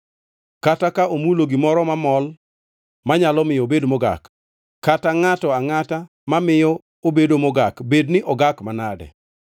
kata ka omulo gimoro mamol manyalo miyo obed mogak, kata ngʼato angʼata mamiyo obedo mogak, bedni ogak manade.